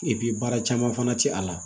baara caman fana ti a la